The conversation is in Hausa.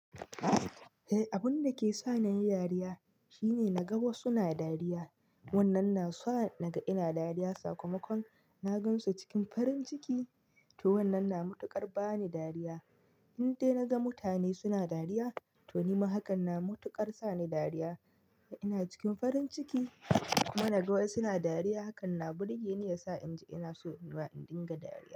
Eh, abun dake sa ni nayi dariya shine naga wasu na dariya. Wannan na sa na ga ina dariya. Sakamakon na gansu cikin farin ciki to wannan na mutuƙar ba ni dariya. Indai na ga mutane suna dariya to nima hakan na mutuƙar sa ni dariya. Ina cikin farin ciki kuma na ga wasu na dariya hakan na burge ni yasa in ji ina so nima in dinga dariya.